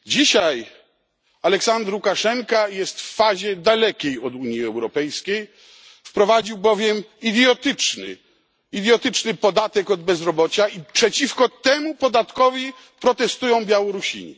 Dzisiaj Aleksandr Łukaszenka jest w fazie dalekiej od Unii Europejskiej, wprowadził bowiem idiotyczny podatek od bezrobocia i przeciwko temu podatkowi protestują Białorusini.